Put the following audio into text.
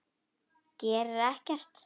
Gerir ekkert.